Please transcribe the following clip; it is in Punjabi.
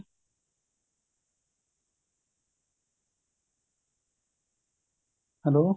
hello